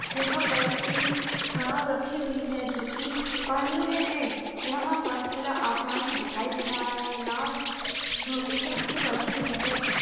यहां पर एक नाव रखी हुई है जो की पानी में है यहां पर खुला आसमान भी दिखाई दे रहा है नाव में एक रस्सी बंधी हुई है।